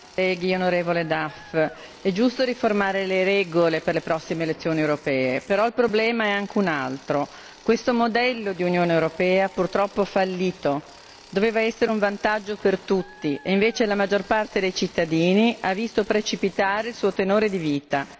Signor Presidente, onorevoli colleghi, onorevole Duff, è giusto riformare le regole per le prossime elezioni europee, ma il problema è anche un altro questo modello di Unione europea purtroppo ha fallito. Doveva essere un vantaggio per tutti e invece la maggior parte dei cittadini ha visto precipitare il suo tenore di vita.